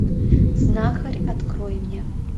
знахарь открой мне